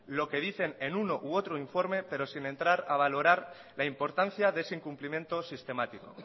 lo que dicen en uno u otro informe pero sin entrar a valorar la importancia de ese incumplimiento sistemático